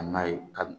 Ka na ye ka